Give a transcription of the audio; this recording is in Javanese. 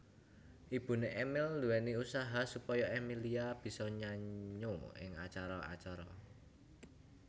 Ibuné Emil nduwéni usaha supaya Emillia bisa nyanyo ing acara acara